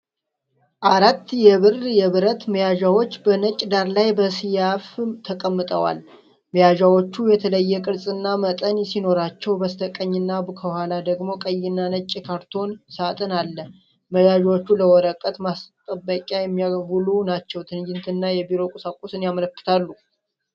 አራት የብር የብረት መያዣዎች በነጭ ዳራ ላይ በሰያፍ ተቀምጠዋል። መያዣዎቹ የተለየ ቅርጽና መጠን ሲኖራቸው፣ በስተቀኝና ከኋላ ደግሞ ቀይና ነጭ የካርቶን ሳጥን አለ። መያዣዎቹ ለወረቀት ማስጠበቂያ የሚውሉ ናቸው፣ ትጋትንና የቢሮ ቁሳቁስን ያመለክታሉ።